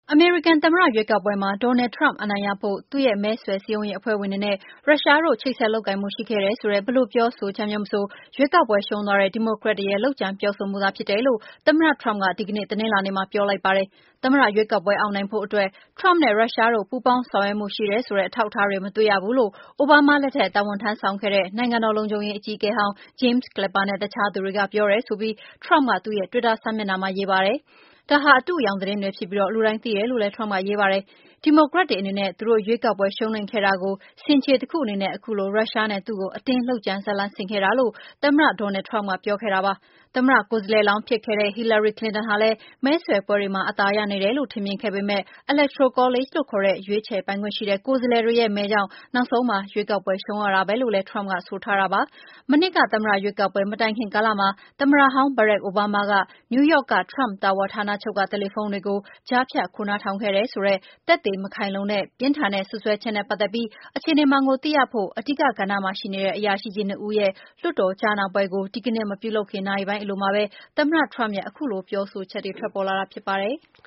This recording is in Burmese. အမေရိကန်သမ္မတ ရွေးကောက်ပွဲမှာ Donald Trump အနိုင်ရဖို့ သူ့မဲဆွယ်စည်းရုံးရေးအဖွဲ့တွေနဲ့ ရုရှားတို့ ချိတ်ဆက်လုပ်ကိုင်မှုရှိခဲ့တယ်ဆိုတဲ့ ဘယ်လိုပြောဆိုချက်မျိုးမဆို ရွေးကောက်ပွဲရှုံးသွားတဲ့ ဒီမိုကရက်တွေရဲ့ လုပ်ကြံပြောဆိုမှုသာဖြစ်တယ်လို့ သမ္မတ Trump ကဒီကနေ့ တနင်္လာနေ့မှာ ပြောလိုက်ပါတယ်။ သမ္မတရွေးကောက်ပွဲအောင်နိုင်ဖို့အတွက် Trump နဲ့ ရုရှားတို့ ပူးပေါင်းဆောင်ရွက်မှုရှိတယ်ဆိုတဲ့အထောက်အထားတွေ မတွေ့ရဘူးလို့ အိုဘားမား လက်ထက်တာဝန်ထမ်းဆောင်ခဲ့တဲ့ နိုင်ငံတော်လုံခြုံရေး အကြီးအကဲဟောင်း James Clapper နဲ့ အခြားသူတွေက ပြောတယ်ဆိုပြီးTrump ကသူ့ရဲ့ တွစ်တာစာမျက်နှာမှာရေး ပါတယ်။ ဒါဟာ အတုအယောင်သတင်းတွေဖြစ်ပြီး လူတိုင်းသိတယ်လို့လည်းTrump ကရေးပါတယ်။ သမ္မတတာဝန်ထမ်းဆောင်တာ ၂ လ သက်တမ်းရှိလာပြီဖြစ်တဲ့ Donald Trump က ဆိုးရွားတဲ့ ရွေးကောက်ပွဲမဲဆွယ်စည်းရုံးရေးပွဲလုပ်ခဲ့တာကို ဆင်ခြေပေးတဲ့အနေနဲ့ ဒီမိုကရက်တွေက ရုရှားဇာတ်လမ်းကို အတင်းလုပ်ကြံဖန်တီးတာဖြစ်တယ်လို့ ပြောပါတယ်။ သမ္မတကိုယ်စားလှယ်လောင်း ဖြစ်ခဲ့တဲ့ Hillary Clinton ဟာလည်း မဲဆွယ်ပွဲတွေမှာ အသာရနေတယ်လို့ ထင်မြင်ခဲ့ပေမယ့်Electoral College လို့ ခေါ်တဲ့ ရွေးချယ်ပိုင်ခွင့်ရှိတဲ့ ကိုယ်စားလှယ်တွေရဲ့ မဲကြောင့် နောက်ဆုံးမှာ ရွေးကောက်ပွဲရှုံးရတာပဲလို့လည်း Trump ကဆိုထားတာပါ။ မနှစ်က သမ္မတရွေးကောက်ပွဲ မတိုင်ခင်ကာလမှာ သမ္မတဟောင်း Barack Obama က New Yorkက Trump Tower ဌာနချုပ်က တယ်လီဖုန်းတွေကို ကြားဖြတ်ခိုးနားထောင်ခဲ့တယ် ဆိုတဲ့ သက်သေမခိုင်လုံတဲ့၊ ပြင်းထန်တဲ့ စွပ်စွဲချက်နဲ့ ပတ်သက်ပြီး အခြေနေမှန်ကို သိရဖို့ အဓိက ကဏ္ဍမှာ ရှိနေတဲ့ အရာရှိကြီး ၂ ဦးရဲ့ လွှတ်တော် ကြားနာပွဲကို ဒီကနေ့ မပြုလုပ်ခင် နာရီပိုင်းအလိုမှာပဲ သမ္မတ Trump ရဲ့ခုလို ပြောဆိုချက်တွေထွက်ပေါ်လာတာဖြစ်ပါတယ်။